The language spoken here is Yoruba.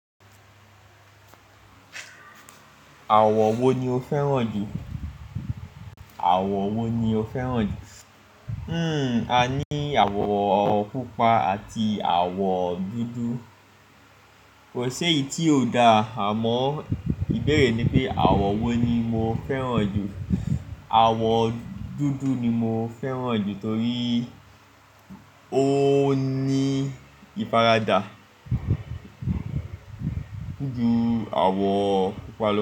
Àwọ̀ wo ni o fẹ́ràn jù? Àwọ̀ wo ni o fẹ́ràn jù? Hmm, a ní àwọ̀ pupa àti àwọ̀ dúdú. Kò ṣeyi tí ò dá àmọ́ ìbéèrè ni pé àwọ̀ wo ni mo fẹ́ràn jù. Àwọ̀ dúdú ni mo fẹ́ràn jù torí ó ní ìfaradà ju àwọ̀ pupa lọ.